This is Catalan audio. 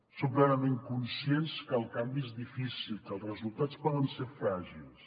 som plenament conscients que el canvi és difícil que els resultats poden ser fràgils